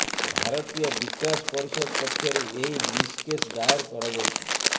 ଭାରତୀୟ ବିକାଶ ପରିଷଦ ପକ୍ଷରୁ ଏହି ମିସ୍ କେସ୍ ଦାୟର କରାଯାଇଛି